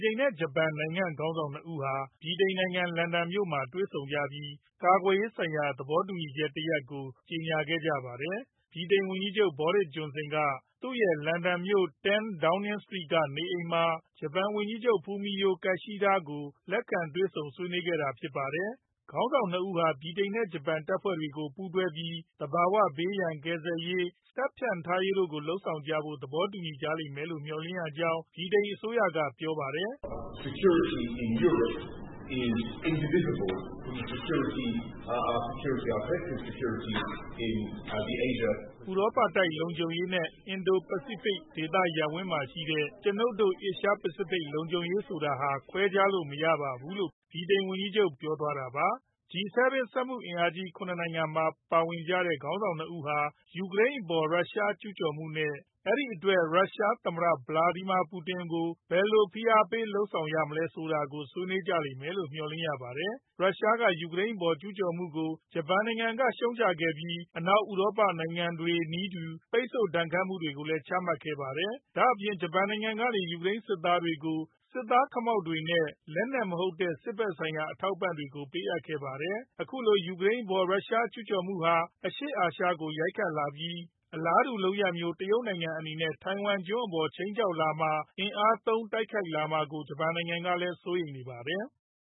တိန်နဲ့ ဂျပန်နိုင်ငံ ခေါင်းဆောင် ၂ ဦးဟာ ဗြိတိန်နိုင်ငံ လန်ဒန်မြို့မှာ တွေ့ဆုံခဲ့ကြပြီး ကာကွယ်ရေးဆိုင်ရာ သဘောတူညီချက်သစ်တရပ်ကို ကြေညာခဲ့ကြပါတယ်။ ဗြိတိန်ဝန်ကြီးချုပ် Boris Johnson က သူရဲ့ လန်ဒန်မြို့ အမှတ် 10 Downing Street က နေအိမ်မှာ ဂျပန်ဝန်ကြီးချုပ် Fumio Kishida ကို လက်ခံတွေဆုံ ဆွေးနွေးကြတာဖြစ်ပါတယ်။ ခေါင်းဆောင် ၂ ဦးဟာ ဗြိတိန်နဲ့ ဂျပန် တပ်ဖွဲ့တွေကို ပူးတွဲပြီး သဘာဝဘေးရန် ကယ်ဆယ်ရေး၊ စစ်လေ့ကျင့်ရေး ၊ တပ်ဖြန့်ထားရေး တို့လုပ်ဆောင်ကြဖို့ကို သဘောတူညီကြလိမ့်မယ်လို့ မျှော်လင့်ရကြောင်း ဗြိတိန်အစိုးရက ပြောပါတယ်။ "ဥရောပတိုက် လုံခြုံရေးနဲ့ Indo-Pacific ဒေသရပ်ဝန်းမှာရှိတဲ့ ကျွနိုပ်တို့ Asia Pacific လုံခြုံရေးဆိုတာဟာ ခွဲခြားလို့မရပါဘူး" လို့ ဗြိတိန်ဝန်ကြီးချုပ် က ပြောသွားတာပါ။ G-7 စက်မှုအင်အားကြီး ၇ နိုင်ငံထဲမှာပါဝင်ကြတဲ့ ခေါင်းဆောင် ၂ ဦးဟာ ယူကရိန်းအပေါ် ရုရှားကျူးကျော်မှု နဲ့ အဲဒီအတွက်ရုရှား သမ္မတ ဗလာဒီမာ ပူတင် အပေါ် ဘယ်လို ဖိအားပေးမှုတွေ လုပ်ဆောင်ရမယ်ဆိုတာကို ဆွေးနွေးကြလိမ့်မယ့် မျှော်လင့်ရပါတယ်။ ရုရှားက ယူကရိန်းအပေါ် ကျူးကျော်မှုကို ဂျပန်နိုင်ငံက ရှုတ်ချခဲ့ပြီး အနောက်ဥရောပနိုင်ငံတွေနည်းတူ ပိတ်ဆို့ဒဏ်ခတ်မှုတွေကိုလည်း ချမှတ်ခဲ့ပါတယ်။ ဒါ့အပြင် ဂျပန်နိုင်ငံကနေ ယူကရိန်းနိုင်ငံကို စစ်သားခမောက်တွေ နဲ့ လက်နက်မဟုတ်တဲ့ စစ်ဖက်ဆိုင်ရာ အထောက်အပံ့တွေကို ပေးအပ်ခဲ့ပါတယ်။ အခုလို ယူကရိန်အပေါ် ရုရှားကျူးကျော်မှုဟာ အရှေ့အာရှကိုလည်း ရိုက်ခတ်လာပြီး အလားတူလုပ်ရပ်မျိုး တရုတ်နိုင်ငံအနေနဲ့ ထိုင်ဝမ်ကျွန်းအပေါ် ခြိမ်းခြောက်လာမှာ ၊ အင်အားသုံး တိုက်ခိုက်လာမှာကို ဂျပန်နိုင်ငံက စိုးရိမ်နေပါတယ်။